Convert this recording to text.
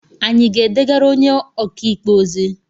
Anyị ga-edegara onye ọkaikpe ozi?